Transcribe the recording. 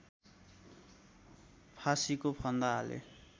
फाँसीको फन्दा हाले